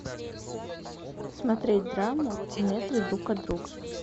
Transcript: смотреть драму в метре друг от друга